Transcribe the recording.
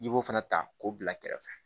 I b'o fana ta k'o bila kɛrɛfɛ